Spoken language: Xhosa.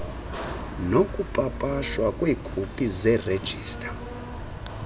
nokupapashwa kweekopi zeerejista